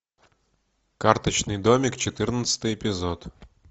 карточный домик четырнадцатый эпизод